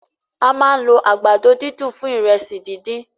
A ma ń lo àgbàdo dídùn fún ìrẹsì díndín.